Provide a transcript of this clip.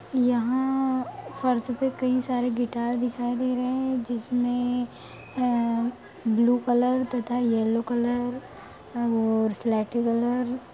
यहाँ फर्श पे कई सारे गिटार दिखाय दे रहे है जिस में ब्लू कलर तथा यलो कलर और स्लेटी कलर --